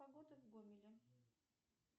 погода в гомеле